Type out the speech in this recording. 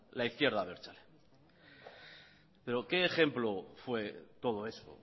la izquierda abertzale pero qué ejemplo fue todo eso